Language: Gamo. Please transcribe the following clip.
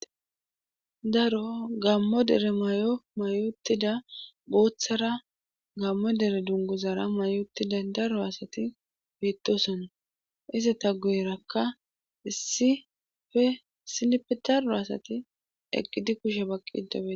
daro gammo dere may7o mayotida booththara gammo dere dungozara mayotida daro asati beettosona izata guyrakka issife silpidaro asati egidi kushe baqqida beetosona